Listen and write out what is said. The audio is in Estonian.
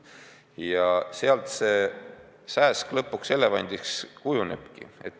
Ja nii see sääsk lõpuks elevandiks kujunebki.